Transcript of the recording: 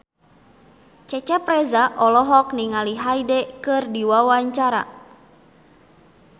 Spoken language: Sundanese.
Cecep Reza olohok ningali Hyde keur diwawancara